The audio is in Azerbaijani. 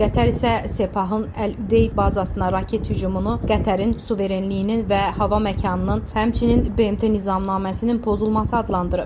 Qətər isə Sepahın Əl-Udeyd bazasına raket hücumunu Qətərin suverenliyinin və hava məkanının, həmçinin BMT nizamnaməsinin pozulması adlandırıb.